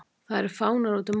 Það eru fánar útum allt.